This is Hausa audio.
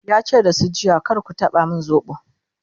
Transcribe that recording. yace da su jiya"kar ku taba min sobo!'